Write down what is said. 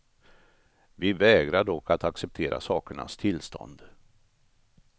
Vi vägrar dock att acceptera sakernas tillstånd.